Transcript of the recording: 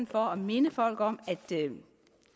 for at minde folk om at